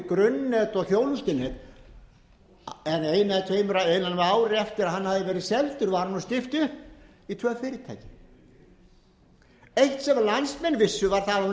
grunnnet og þjónustunet en innan við ári eftir að hann hafði verið seldur var honum skipt upp í tvö fyrirtæki eitt þegar landsmenn vissu var